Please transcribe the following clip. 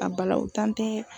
A balawu tan tɛ.